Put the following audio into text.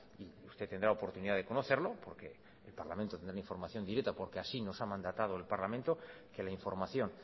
y usted tendrá oportunidad de conocerlo porque el parlamento tendrá información directa porque así nos ha mandatado el parlamento que la información